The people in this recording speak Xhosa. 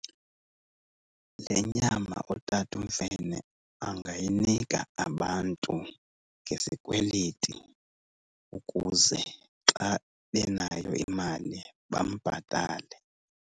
Le nyama uTata uMfene angayinika abantu ngezikweleti ukuze xa benayo imali bambhatale.